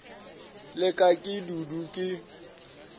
la ka ke dudu ke